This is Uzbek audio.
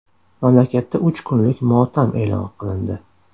Mamlakatda uch kunlik motam e’lon qilindi.